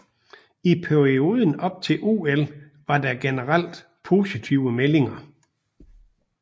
I perioden op til OL var der generelt positive meldinger